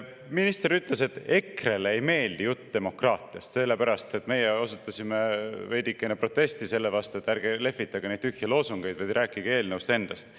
Minister ütles, et EKRE‑le ei meeldi jutt demokraatiast, sellepärast et meie osutasime veidikene protesti tühjade loosungitega lehvitamise vastu, rääkige eelnõust endast.